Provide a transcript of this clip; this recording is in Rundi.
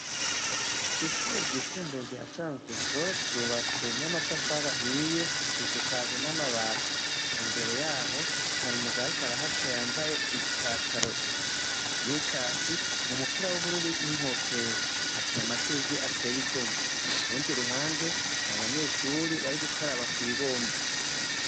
Ishube ry'isumbuye rya canguzo ryubatse n'amatafarahiye risukaje n'amabati imbere yaho hari umugarik arahaca yambaye ipataro i wikaki umupira w'ubururuminkofero hateye amashugwi ateye igome kurundi ruhande hari abanyeshuri bari gukaraba akwibomba.